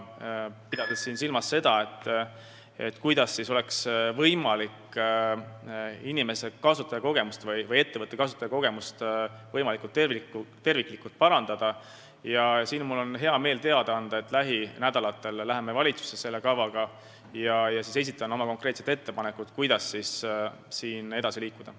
Mis puutub sellesse, kuidas oleks võimalik inimeste ja ettevõtete kasutajakogemusi võimalikult terviklikult parandada, siin mul on hea meel teada anda, et lähinädalatel me läheme valitsusse sellekohase kavaga, ja siis ma esitan oma konkreetsed ettepanekud, kuidas edasi liikuda.